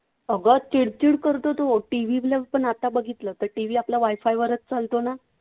अगं चिडचिड करतो तो. TV ला पण आता बघितलं तर TV आपला wi-fi वरच चालतो ना?